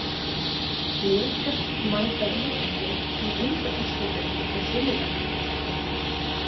Blikar mæta Víkingi í undanúrslitum á sunnudag.